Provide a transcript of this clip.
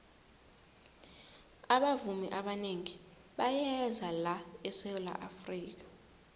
abavumi abanengi bayeza la esawula afrika